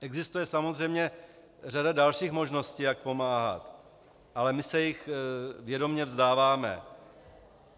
Existuje samozřejmě řada dalších možností, jak pomáhat, ale my se jich vědomě vzdáváme.